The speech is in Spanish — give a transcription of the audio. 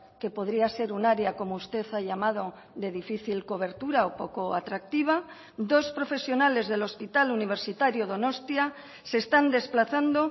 que podría ser un área como usted ha llamado de difícil cobertura o poco atractiva dos profesionales del hospital universitario donostia se están desplazando